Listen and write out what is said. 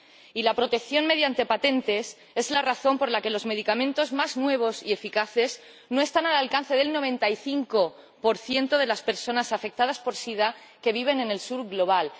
Y la protección mediante patentes es la razón por la que los medicamentos más nuevos y eficaces no están al alcance del 95 de las personas afectadas por el sida, que viven en el Sur global.